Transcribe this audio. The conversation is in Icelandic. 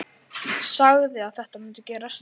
Sagði að þetta mundi gerast.